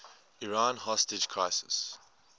iran hostage crisis